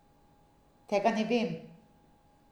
Tega ne vem.